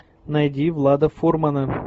найди влада фурмана